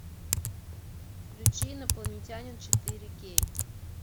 включи инопланетянин четыре кей